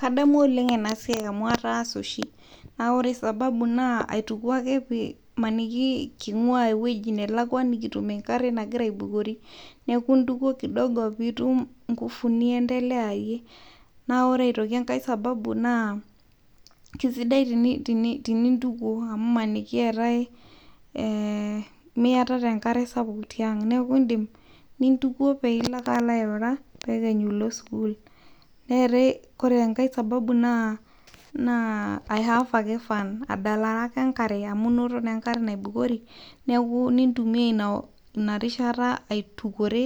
kadamu oleng' enaa siaii amu ataasa oshi nawore sababu naa aituku ake pemaniki king'ua ewueji nalakua nikitum enkare nagira aibukori nituko kidogo pitum inkufu niendeleyayie nawore eng'aee sababu naa kaisidai enitukoi amu maniki miatata Enkare sapuk eneku indim pintuko alo airura pekenyu ilo sukul. Wore engae sababu naa ai have fun adalare ake enkare naibukori nintumia ina rishata aitukore